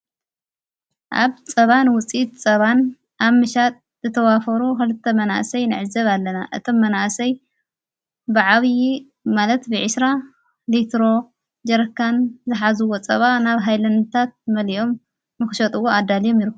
ኣብ ጸባን ውፂት ጸባን ኣ ምሻጥ ዝተዋፈሩ ኸልተ መናእሰይ ነዕዘብ ኣለና እቶም መናእሰይ ብዓብዪ ማለት ብዒሥራ ሊትሮ ጀረካን ዝኃዝዎ ጸባ ናብ ኃይለንታት መሊዮም ምኽሸጥዎ ኣዳልዮም ይርከቡ።